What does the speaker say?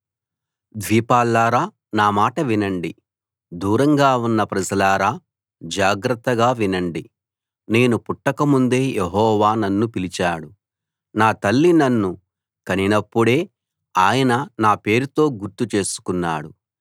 ద్వీపాల్లారా నా మాట వినండి దూరంగా ఉన్న ప్రజలారా జాగ్రత్తగా వినండి నేను పుట్టకముందే యెహోవా నన్ను పిలిచాడు నా తల్లి నన్ను కనినప్పుడే ఆయన నా పేరుతో గుర్తు చేసుకున్నాడు